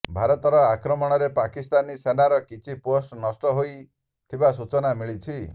ଭାରତର ଆକ୍ରମଣରେ ପାକିସ୍ତାନୀ ସେନାର କିଛି ପୋଷ୍ଟ ନଷ୍ଟ ହୋଇଥିବା ସୂଚନା ମିଳିଛି